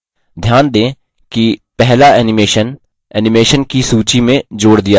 ध्यान दें कि पहला animation animation की सूची में जोड़ दिया गया है